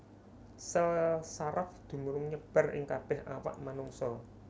Sèl saraf dumunung nyebar ing kabèh awak manungsa